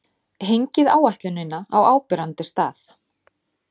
Hengið áætlunina á áberandi stað.